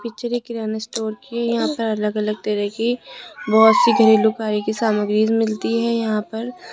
picture यह किराना store की है यहां पर अलग-अलग तरह की बहुत सी घरेलू उपाय की सामग्री मिलती है यहां पर --